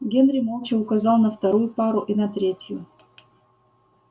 генри молча указал на вторую пару и на третью